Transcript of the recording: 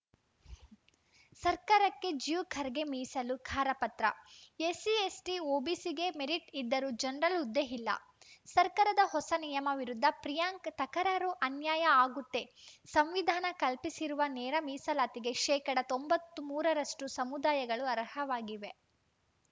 ಸರ್ಕಾರಕ್ಕೆ ಜ್ಯೂ ಖರ್ಗೆ ಮೀಸಲು ಖಾರ ಪತ್ರ ಎಸ್ಸಿ ಎಸ್ಟಿ ಒಬಿಸಿಗೆ ಮೆರಿಟ್‌ ಇದ್ದರೂ ಜನರಲ್‌ ಹುದ್ದೆ ಇಲ್ಲ ಸರ್ಕಾರದ ಹೊಸ ನಿಯಮ ವಿರುದ್ಧ ಪ್ರಿಯಾಂಕ್‌ ತಕರಾರು ಅನ್ಯಾಯ ಆಗುತ್ತೆ ಸಂವಿಧಾನ ಕಲ್ಪಿಸಿರುವ ನೇರ ಮೀಸಲಾತಿಗೆ ಶೇಕಡಾ ತೊಂಬತ್ತ್ ಮೂರರಷ್ಟು ಸಮುದಾಯಗಳು ಅರ್ಹವಾಗಿವೆ